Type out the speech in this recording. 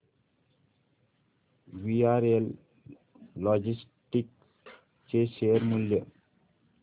VRL logistics चे share मूल्य